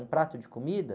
Um prato de comida?